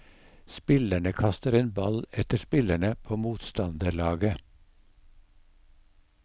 Spillerne kaster en ball etter spillerne på motstanderlaget.